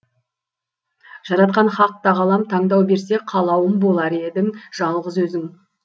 жаратқан хақ тағалам таңдау берсе қалауым болар едің жалғыз өзің